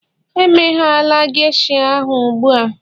emeghela geisha ahụ ugbu a